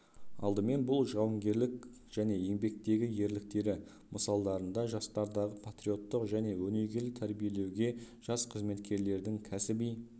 алдымен бұл жауынгерлік және еңбектегі ерліктері мысалдарында жастардағы патриоттық және өңегелі тәрбиелеуге жас қызметкерлердің кәсіби